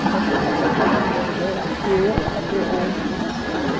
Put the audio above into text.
O comportamento que eles tiveram, eu até hoje não entendo.